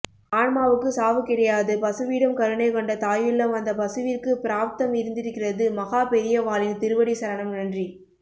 ஆன்மாவுக்கு சாவு கிடையாது பசுவிடம் கருணை கொண்ட தாயுள்ளம் அந்த பசுவிற்க்கு பிராப்தம் இருந்திருக்கிறது மஹாபெரியவாளின் திருவடி சரணம் நன்றி